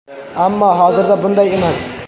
Ammo hozirda bunday emas.